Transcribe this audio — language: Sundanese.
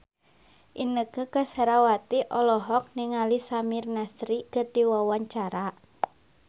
Inneke Koesherawati olohok ningali Samir Nasri keur diwawancara